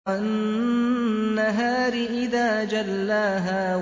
وَالنَّهَارِ إِذَا جَلَّاهَا